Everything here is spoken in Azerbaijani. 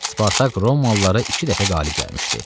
Spartak romalılara iki dəfə qalib gəlmişdi.